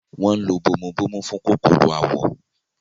wọ́n ń lo “bomubómú” fún kòkòrò àwọ̀.